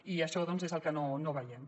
i això doncs és el que no veiem